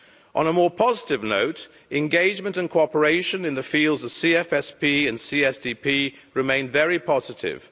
On a more positive note, engagement and cooperation in the fields of CFSP and CSDP remain very positive.